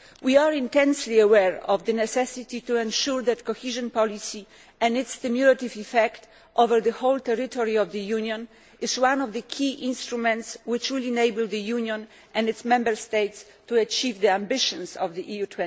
We are intensely aware of the necessity to ensure that cohesion policy and its cumulative effect over the whole territory of the Union is one of the key instruments which will enable the Union and its Member States to achieve the ambitions of EU